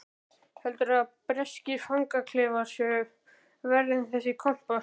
Heldurðu að breskir fangaklefar séu verri en þessi kompa?